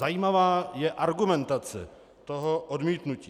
Zajímavá je argumentace toho odmítnutí.